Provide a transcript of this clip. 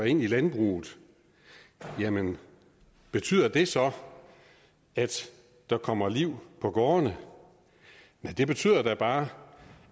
ind i landbruget jamen betyder det så at der kommer liv på gårdene nej det betyder da bare